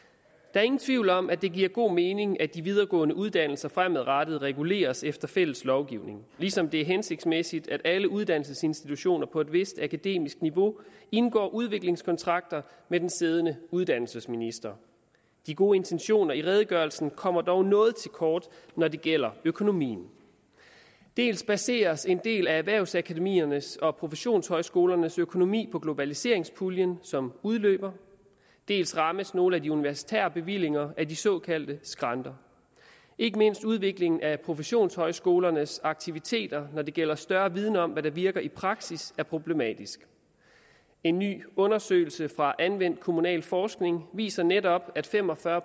er ingen tvivl om at det giver god mening at de videregående uddannelser fremadrettet reguleres efter fælles lovgivning ligesom det er hensigtsmæssigt at alle uddannelsesinstitutioner på et vist akademisk niveau indgår udviklingskontrakter med den siddende uddannelsesminister de gode intentioner i redegørelsen kommer dog noget til kort når det gælder økonomien dels baseres en del af erhvervsakademiernes og professionshøjskolernes økonomi på globaliseringspuljen som udløber dels rammes nogle af de universitære bevillinger af de såkaldte skrænter ikke mindst udviklingen af professionshøjskolernes aktiviteter når det gælder større viden om hvad der virker i praksis er problematisk en ny undersøgelse fra anvendt kommunalforskning viser netop at fem og fyrre